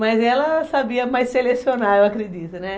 Mas ela sabia mais selecionar, eu acredito, né?